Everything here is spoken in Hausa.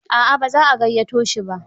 A'a ba za a gayyato shi ba.